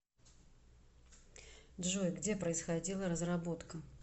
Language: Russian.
джой где происходила разработка